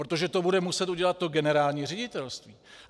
Protože to bude muset udělat to generální ředitelství.